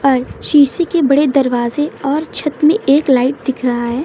और शीशे के बड़े दरवाजे और छत में एक लाइट दिख रहा है।